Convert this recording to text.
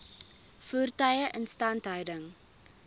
voertuie instandhouding